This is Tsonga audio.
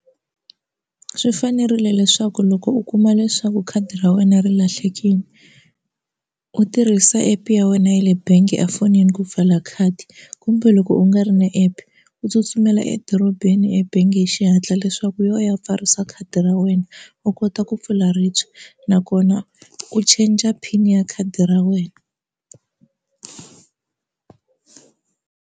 Swi fanerile leswaku loko u kuma leswaku khadi ra wena ri lahlekile u tirhisa app ya wena ya le bangi efonini ku pfala khadi kumbe loko u nga ri na app u tsutsumela edorobeni ebangi hi xihatla leswaku yo ya pfarisa khadi ra wena u kota ku pfula ribye nakona u changer pin ya khadi ra wena.